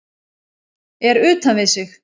Er utan við sig